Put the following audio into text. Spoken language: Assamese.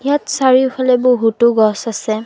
ইয়াত চাৰিওফালে বহুতো গছ আছে।